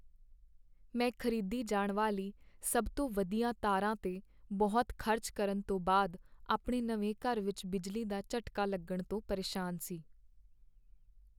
ਮੈਂ ਖ਼ਰੀਦੀ ਜਾਣ ਵਾਲੀ ਸਭ ਤੋਂ ਵਧੀਆ ਤਾਰਾਂ 'ਤੇ ਬਹੁਤ ਖ਼ਰਚ ਕਰਨ ਤੋਂ ਬਾਅਦ ਆਪਣੇ ਨਵੇਂ ਘਰ ਵਿੱਚ ਬਿਜਲੀ ਦਾ ਝਟਕਾ ਲੱਗਣ ਤੋਂ ਪਰੇਸ਼ਾਨ ਸੀ।